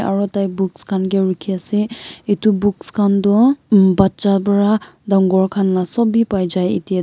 aro tai books khan ke rukhi ase etu books khan do um bacha para dangor khan la sob b pai jai ete du.